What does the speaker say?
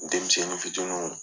U denmisɛnnin fitiniw